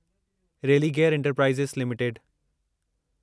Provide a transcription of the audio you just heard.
Religare enterprises limited